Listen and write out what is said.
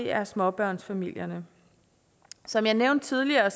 er småbørnsfamilierne som jeg nævnte tidligere